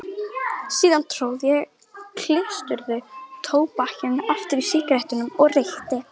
Síðan tróð ég klístruðu tóbakinu aftur í sígarettuna og reykti.